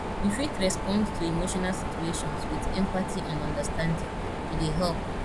you fit respond to emotional situations with empathy and understanding e dey help